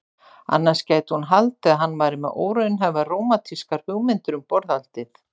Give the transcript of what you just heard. Annars gæti hún haldið að hann væri með óraunhæfar rómantískar hugmyndir um borðhaldið.